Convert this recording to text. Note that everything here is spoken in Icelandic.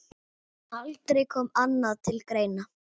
Aldrei kom annað til greina.